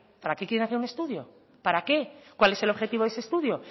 para qué quieren hacer un estudio para qué cuál es el objetivo de ese estudio